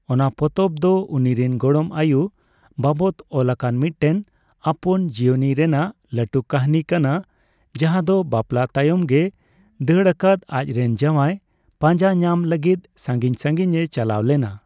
ᱚᱱᱟ ᱯᱚᱛᱚᱵ ᱫᱚ ᱩᱱᱤᱨᱮᱱ ᱜᱚᱲᱚᱢ ᱟᱭᱩ ᱵᱟᱵᱚᱫ ᱚᱞᱟᱠᱟᱱ ᱢᱤᱫᱴᱮᱱ ᱟᱯᱚᱱᱡᱤᱭᱚᱱᱤ ᱨᱮᱱᱟᱜ ᱞᱟᱹᱴᱩ ᱠᱟᱹᱦᱱᱤ ᱠᱟᱱᱟ, ᱡᱟᱦᱟᱭ ᱫᱚ ᱵᱟᱯᱞᱟ ᱛᱟᱭᱚᱢ ᱜᱮᱭ ᱫᱟᱹᱲᱟᱠᱟᱫ ᱟᱡᱨᱮᱱ ᱡᱟᱸᱣᱟᱭ ᱯᱟᱸᱡᱟ ᱧᱟᱢ ᱞᱟᱹᱜᱤᱛ ᱥᱟᱹᱝᱜᱤᱧ ᱥᱟᱹᱜᱤᱧᱼᱮ ᱪᱟᱞᱟᱣ ᱞᱮᱱᱟ ᱾